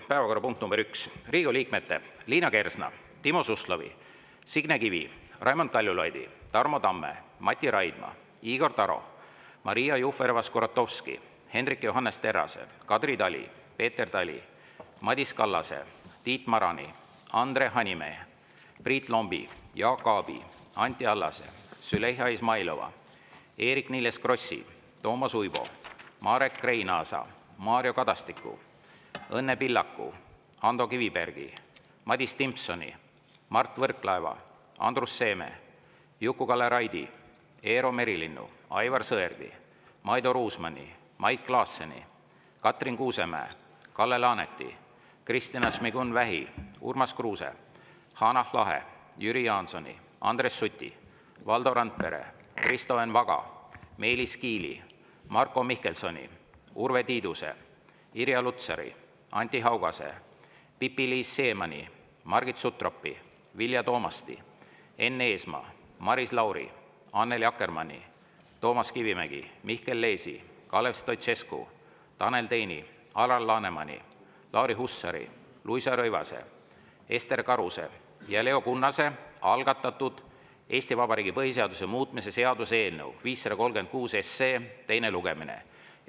Päevakorrapunkt nr 1: Riigikogu liikmete Liina Kersna, Timo Suslovi, Signe Kivi, Raimond Kaljulaidi, Tarmo Tamme, Mati Raidma, Igor Taro, Maria Jufereva-Skuratovski, Hendrik Johannes Terrase, Kadri Tali, Peeter Tali, Madis Kallase, Tiit Marani, Andre Hanimäe, Priit Lombi, Jaak Aabi, Anti Allase, Züleyxa Izmailova, Eerik-Niiles Krossi, Toomas Uibo, Marek Reinaasa, Mario Kadastiku, Õnne Pillaku, Ando Kivibergi, Madis Timpsoni, Mart Võrklaeva, Andrus Seeme, Juku-Kalle Raidi, Eero Merilinnu, Aivar Sõerdi, Maido Ruusmanni, Mait Klaasseni, Katrin Kuusemäe, Kalle Laaneti, Kristina Šmigun-Vähi, Urmas Kruuse, Hanah Lahe, Jüri Jaansoni, Andres Suti, Valdo Randpere, Kristo Enn Vaga, Meelis Kiili, Marko Mihkelsoni, Urve Tiiduse, Irja Lutsari, Anti Haugase, Pipi-Liis Siemanni, Margit Sutropi, Vilja Toomasti, Enn Eesmaa, Maris Lauri, Annely Akkermanni, Toomas Kivimägi, Mihkel Leesi, Kalev Stoicescu, Tanel Teini, Alar Lanemani, Lauri Hussari, Luisa Rõivase, Ester Karuse ja Leo Kunnase algatatud Eesti Vabariigi põhiseaduse muutmise seaduse eelnõu 536 teine lugemine.